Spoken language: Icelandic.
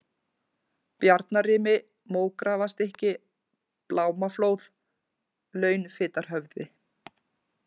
Bjarnarimi, Mógrafarstykki, Blámaflóð, Launfitarhöfði